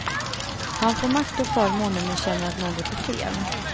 Han får makt och förmåner men känner att något är fel.